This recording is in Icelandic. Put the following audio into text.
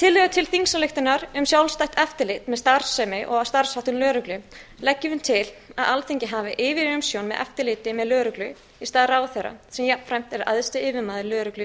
í tillögu til þingsályktunar um sjálfstætt eftirlit með starfsemi og starfsháttum lögreglu leggjum við til að alþingi hafi yfirumsjón með eftirliti með lögreglu í stað ráðherra sem jafnframt er æðsti yfirmaður lögreglu